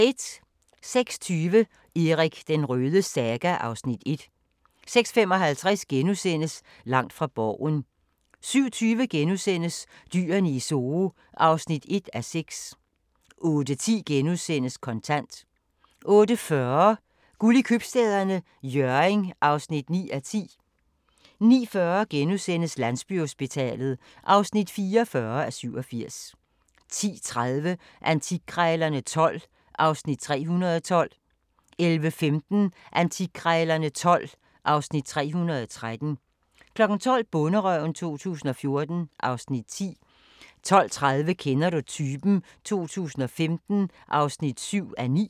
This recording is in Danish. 06:20: Erik den Rødes saga (Afs. 1) 06:55: Langt fra Borgen * 07:20: Dyrene i Zoo (1:6)* 08:10: Kontant * 08:40: Guld i Købstæderne – Hjørring (9:10) 09:40: Landsbyhospitalet (44:87)* 10:30: Antikkrejlerne XII (Afs. 312) 11:15: Antikkrejlerne XII (Afs. 313) 12:00: Bonderøven 2014 (Afs. 10) 12:30: Kender du typen? 2015 (7:9)